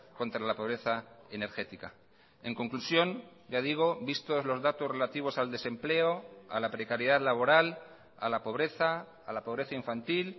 contra la pobreza energética en conclusión ya digo vistos los datos relativos al desempleo a la precariedad laboral a la pobreza a la pobreza infantil